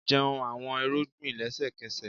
jẹun awọn irugbin lẹsẹkẹsẹ!